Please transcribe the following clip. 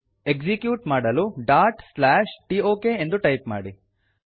execute ಮಾಡಲು dot slash ಟೋಕ್ ಎಂದು ಟೈಪ್ ಮಾಡಿ